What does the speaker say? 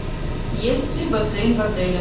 есть ли бассейн в отеле